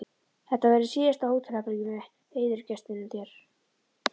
Þetta verður síðasta hótelherbergið með heiðursgestinum þér.